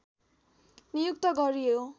नियुक्त गरियो